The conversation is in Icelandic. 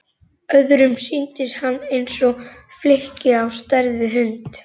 Öðrum sýndist hann eins og flykki á stærð við hund.